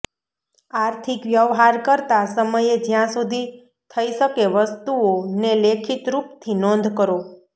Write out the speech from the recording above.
આર્થિક વ્યવહાર કરતા સમયે જ્યાં સુધી થઇ શકે વસ્તુઓ ને લેખિત રૂપ થી નોંધ કરો